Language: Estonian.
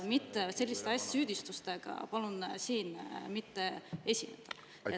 Palun selliste süüdistustega mitte siin esineda.